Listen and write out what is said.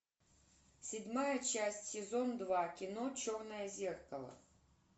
седьмая часть сезон два кино черное зеркало